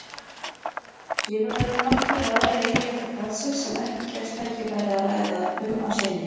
Síðan eru nokkrir aðrir eiginleikar kraftsins sem ekki gefst tækifæri að ræða um að sinni.